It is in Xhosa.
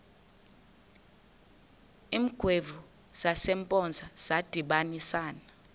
iingwevu zasempoza zadibanisana